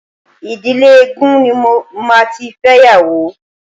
Ìdílé eégún ni màá tí fẹ́yàwó.